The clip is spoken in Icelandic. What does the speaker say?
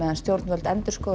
stjórnvöld endurskoða